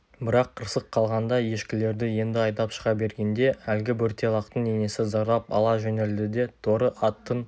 бірақ қырсық қылғанда ешкілерді енді айдап шыға бергенде әлгі бөрте лақтың енесі зарлап ала жөнелді де торы аттың